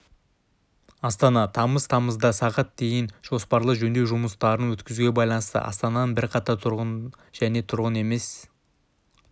астана тамыз тамызда сағат дейін жоспарлы жөндеу жұмыстарын өткізуге байланысты астанының бірқатар тұрғын және тұрғын емес